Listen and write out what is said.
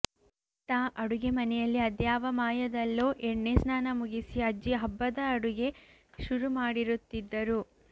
ಇತ್ತ ಅಡುಗೆ ಮನೆಯಲ್ಲಿ ಅದ್ಯಾವ ಮಾಯದಲ್ಲೋ ಎಣ್ಣೆ ಸ್ನಾನ ಮುಗಿಸಿ ಅಜ್ಜಿ ಹಬ್ಬದ ಅಡುಗೆ ಶುರು ಮಾಡಿರುತ್ತಿದ್ದರು